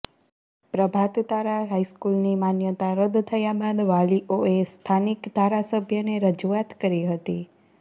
પ્રભાત તારા હાઇસ્કૂલની માન્યતા રદ્દ થયા બાદ વાલીઓએ સ્થાનિક ધારાસભ્યને રજૂઆત કરી હતી